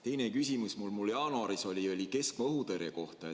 Teine küsimus, mis mul jaanuaris oli, oli keskmaa-õhutõrje kohta.